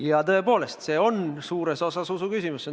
Ja tõepoolest, see on suures osas usuküsimus.